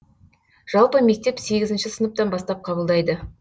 жалпы мектеп сегізінші сыныптан бастап қабылдайды